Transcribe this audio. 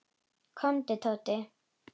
Komdu, Tóti.